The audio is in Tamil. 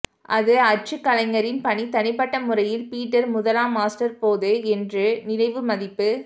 அது அச்சுக் கலைஞரின் பணி தனிப்பட்ட முறையில் பீட்டர் முதலாம் மாஸ்டர் போது என்று நினைவு மதிப்பு